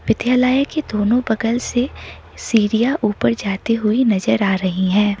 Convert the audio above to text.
विद्यालय की दोनों बगल से सीढ़ियां ऊपर जाती हुई नजर आ रही हैं।